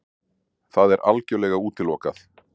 Það er algjörlega útilokað!